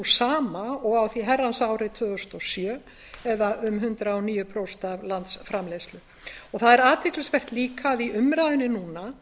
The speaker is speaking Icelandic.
sama og á því herrans ári tvö þúsund og sjö eða um hundrað og níu prósent af landsframleiðslu það er athyglisvert líka að í umræðu núna